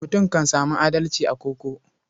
Mutum kan sami adalci a koko.